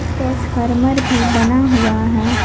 Transformer भी बना हुआ है।